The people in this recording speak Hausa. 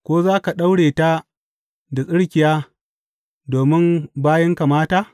Ko za ka daure ta da tsirkiya domin bayinka mata?